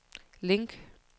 link